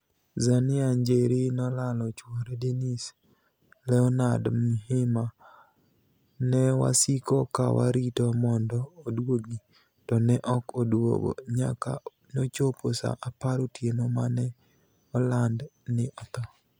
Zenia nijeri nolalo chwore Deniis Leoniard Mhima: 'ni e wasiko ka warito monido oduogi, to ni e ok oduogo, niyaka nochopo Saa apar otieno ma ni e olanid nii otho.